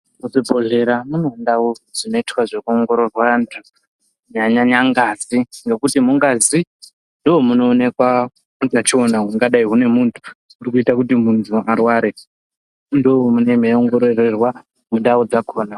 Muzv ibhedhlera mune ndau dzino itwa zveku ongororwa anthu kunyanya nyanya ngazi ngekuti mungazi ndomu noonekwa utachiona hungadai hune munthu hunoita kuti munthu arware ndo munenge mei ongororerwa mundau dzakhona.